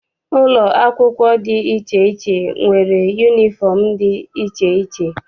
Ụlọ akwụkwọ dị iche iche nwere yunifọm dị iche iche.